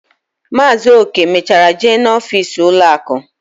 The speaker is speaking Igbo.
Maazi Oke mechara jee na ọfịs ụlọ akụ